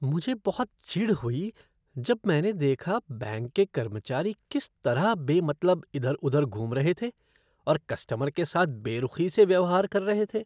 मुझे बहुत चिढ़ हुई जब मैंने देखा बैंक के कर्मचारी किस तरह बेमतलब इधर उधर घूम रहे थे और कस्टमर के साथ बेरुखी से व्यवहार कर रहे थे।